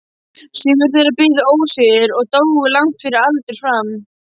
Sumir þeirra biðu ósigur og dóu langt fyrir aldur fram.